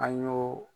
An y'o